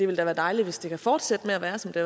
være dejligt hvis det kan fortsætte med at være som det